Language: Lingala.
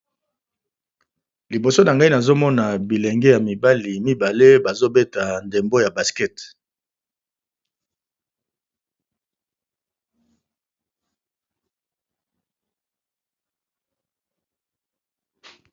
Liboso na ngai nazomona bilenge ya mibali mibale bazobeta ndembo ya baskete.